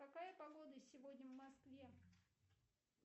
какая погода сегодня в москве